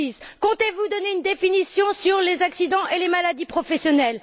2006? Comptez vous donner une définition des accidents et des maladies professionnels?